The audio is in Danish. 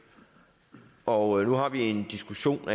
og nu har vi en diskussion